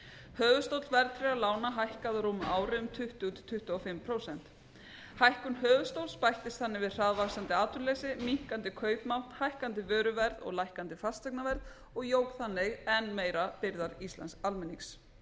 höfuðstóll verðtryggðra lána hækkaði á rúmu ári um tuttugu til tuttugu og fimm prósenta hækkun höfuðstóls bættist þannig við hraðvaxandi atvinnuleysi minnkandi kaupmátt hækkandi vöruverð og lækkandi fasteignaverð og jók þannig enn meira byrðar íslensks almennings